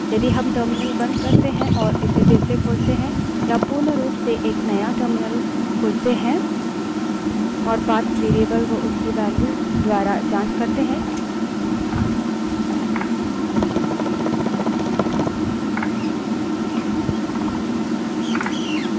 यदि हम terminal बंद करते हैं और इसे फिर से खोलते हैं या पूर्ण रूप से एक नया terminal खोलते हैं और path variable को उसकी value द्वारा की जाँच करते हैं